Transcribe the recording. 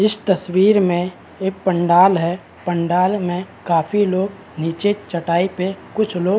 इस तस्वीर में एक पंडाल है पंडाल में काफी लोग निचे चटाई पे कुछ लोग --